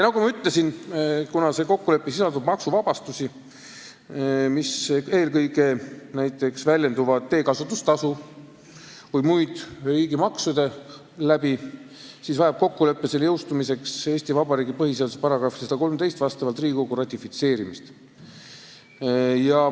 Nagu ma ütlesin, kuna see kokkulepe sisaldab maksuvabastusi, mis puudutavad eelkõige teekasutustasu ja muid riigimaksusid, siis on kokkuleppe jõustumiseks vastavalt Eesti Vabariigi põhiseaduse §-le 113 vaja selle ratifitseerimist Riigikogus.